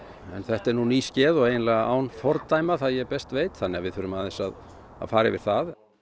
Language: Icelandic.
en þetta er nú nýskeð og eiginlega án fordæma það ég best veit þannig við þurfum aðeins að fara yfir það